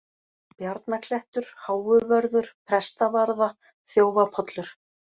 Bjarnaklettur, Háuvörður, Prestavarða, Þjófapollur